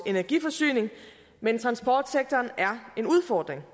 energiforsyningen men transportsektoren er en udfordring